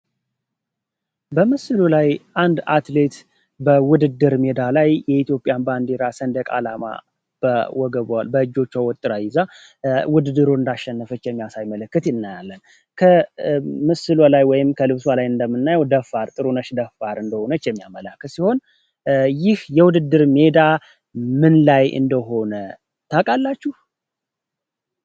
በምስሎ ላይ አንድ አትሌት በውድድር ሜዳ ላይ የኢትዮጵያን ባንዲራ ስንደቃላማ ወገቧ በእጆቹ ወጥራ ይዛ ውድድሩ እንዳሸነፈች የሚያሳይ ምልክት እናያለን ከምስሉ ላይ ወይ ከልብሷ ላይ እንደምናው ጥሩነሽ ደፋር እንደሆነች የሚያመላክት ሲሆን ይህ የውድድር ሜዳ ምን ላይ እንደሆነ ታቃላችሁ?